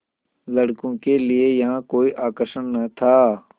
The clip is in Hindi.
लड़कों के लिए यहाँ कोई आकर्षण न था